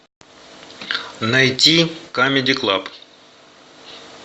найти камеди клаб